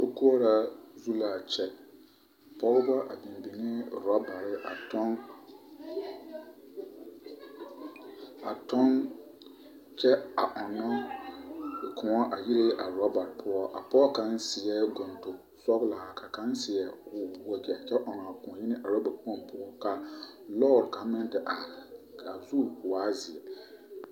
Sokoɔraa zu l'a kyɛ pɔgeba a biŋ biŋee robare a tɔŋ, a tɔŋ kyɛ a ɔnnɔ kõɔ a yire a robare poɔ a pɔge kaŋ seɛ gontoŋ sɔgelaa ka kaŋa seɛ wagyɛ kyɛ ɔŋ a kõɔ yi roba kpoŋ poɔ ka lɔɔre kaŋ meŋ te are k'a zu waa zeɛ.